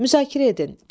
Müzakirə edin.